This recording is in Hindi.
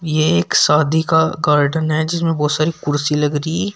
ये एक शादी का गार्डन है जिसमें बहुत सारी कुर्सी लग रही--